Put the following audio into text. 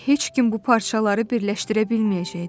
Və heç kim bu parçaları birləşdirə bilməyəcəkdi.